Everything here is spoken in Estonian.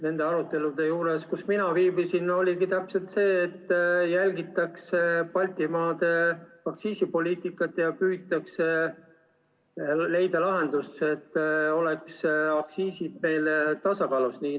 Nende arutelude juures, kus mina viibisin, oligi jutuks, et jälgitakse Baltimaade aktsiisipoliitikat ja püütakse leida lahendus, et oleks aktsiisid tasakaalus.